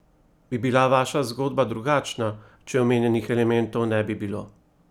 Bi bila vaša zgodba drugačna, če omenjenih elementov ne bi bilo?